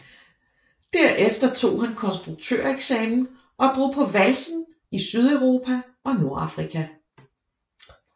Derefter tog han konstruktøreksamen og drog på valsen i Sydeuropa og Nordafrika